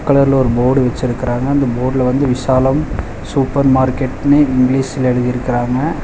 Red கலர்ல ஒரு board வெச்சுருக்காங்க. அந்த போர்டுல வந்து விசாலம் சூப்பர் மார்க்கெட்னு இங்கிலீஷ்ல எழுதிருக்கறாங்க.